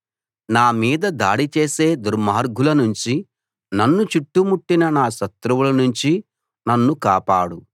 నా మీద దాడి చేసే దుర్మార్గులనుంచి నన్ను చుట్టుముట్టిన నా శత్రువులనుంచి నన్ను కాపాడు